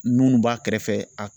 b'a kɛrɛfɛ a.